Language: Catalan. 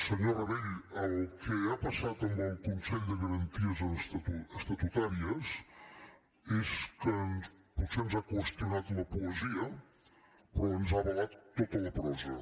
senyor rabell el que ha passat amb el consell de garanties estatutàries és que potser ens ha qüestionat la poesia però ens ha avalat tota la prosa